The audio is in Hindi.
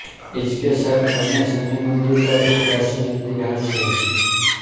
इसके साथ बने शनि मंदिर का भी प्राचीन इतिहास है